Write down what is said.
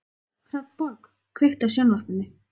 Hrafnborg, kveiktu á sjónvarpinu.